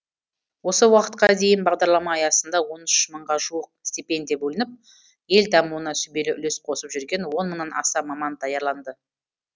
осы уақытқа дейін бағдарлама аясында он үш мыңға жуық степендия бөлініп ел дамуына сүбелі үлес қосып жүрген он мыңнан аса маман даярланды